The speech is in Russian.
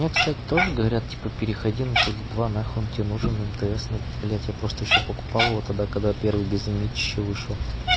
ну я кстати тоже говорят типа переходи на теле два нахуй он тебе нужен мтс ну блять я просто ещё покупал его тогда когда первый безлимитище вышел